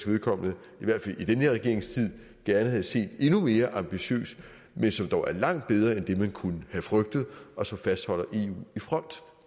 vedkommende i hvert fald i den her regerings tid gerne havde set endnu mere ambitiøs men som dog er langt bedre end det man kunne have frygtet og som fastholder eu i front